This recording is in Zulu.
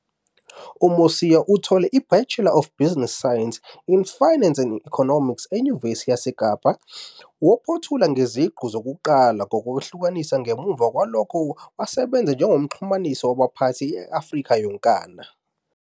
UMosia uthole iBachelor of Business Science in Finance and Economics eNyuvesi yaseKapa, waphothula ngeziqu zokuqala nokwehlukanisa, ngemuva kwalokho wasebenza njengomxhumanisi wabaphathi e-Afrika yonkana.